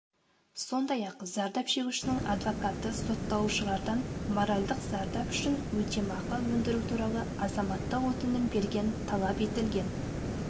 сондай-ақ зардап шегушінің адвокаты сотталушылардан моральдық зардап үшін өтемақы өндіру туралы азаматтық өтінім берген талап етілген